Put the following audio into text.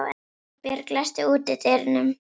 Guðbjörg, læstu útidyrunum.